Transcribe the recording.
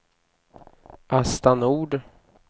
Asta Nord